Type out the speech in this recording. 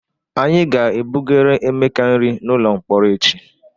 Anyị ga-ebugara Emeka nri n'ụlọ mkpọrọ echi.